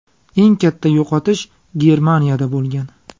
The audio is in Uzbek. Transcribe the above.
Eng katta yo‘qotish Germaniyada bo‘lgan.